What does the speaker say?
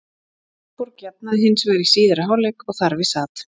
Árborg jafnaði hins vegar í síðari hálfleik og þar við sat.